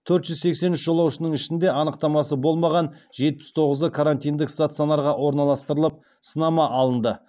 төрт жүз сексен үш жолаушының ішінде анықтамасы болмаған жетпіс тоғызы карантиндік стационарға орналастырылып сынама алынды